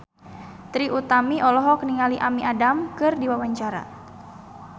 Trie Utami olohok ningali Amy Adams keur diwawancara